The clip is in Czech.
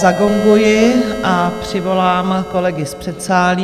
Zagonguji a přivolám kolegy z předsálí.